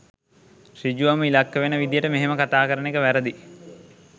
ඍජුවම ඉලක්ක වෙන විදියට මෙහෙම කතා කරන එක වැරදියි.